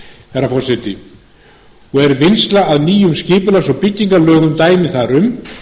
herra forseti og er vinnsla að nýjum skipulags og byggingarlögum dæmi þar um